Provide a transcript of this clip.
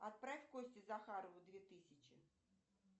отправь косте захарову две тысячи